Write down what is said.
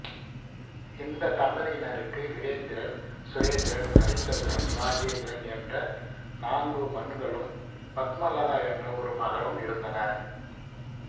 இந்த தம்பதியினருக்கு வீரேந்திரன் சுரேந்திரன் அரிச்சந்திரன் இராஜேந்திரன் என்ற நாங்கு மன்களும் பத்மலதா என்ற ஒரு மகளும் இருந்தனர்